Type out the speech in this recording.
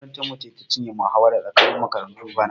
Makarantarmu ce ta cinye muhawara tsakanin makaratun bana.